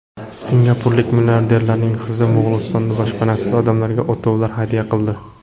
Singapurlik milliarderning qizi Mo‘g‘ulistonda boshpanasiz odamlarga o‘tovlar hadya qildi .